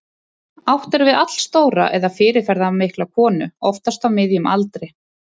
Átt er við allstóra eða fyrirferðarmikla konu, oftast á miðjum aldri.